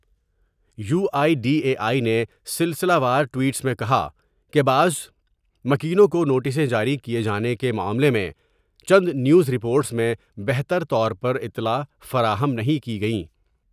You I D A I نے سلسلہ وار ٹوئٹس میں کہا کہ بعض مکینوں کو نوٹسیں جاری کیے جانے کے معاملہ میں چند نیوز رپورٹس میں بہتر طور پر اطلاع فراہم نہیں کی گئیں ۔